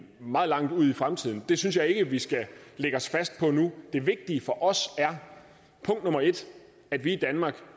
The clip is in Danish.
meget langt ude i fremtiden synes jeg ikke vi skal lægge os fast på nu det vigtige for os er punkt nummer en at vi i danmark